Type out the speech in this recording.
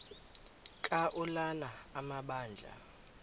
ka ulana amabandla